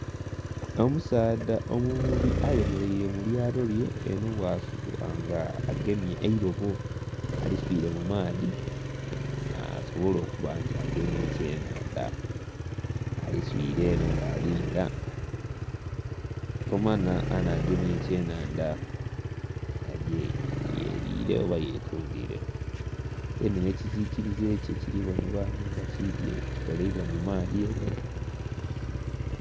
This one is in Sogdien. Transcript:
Omusaadha omuvubi ayemeleire mu lyato lye enho bwasuula nga agemye eilobo. Aliswile mu maadhi asobole okuba nti agema ekyenhandha. Aliswile enho bwalinda, tomanha anagemya ekyenhandha agye yelire oba yetundile. Deeni, nh'ekisikilize kye kili bonhebwa ghano nga kidhye kikoleibwa mu maadhi...